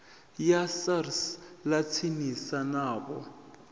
ya sars ḽa tsinisa navho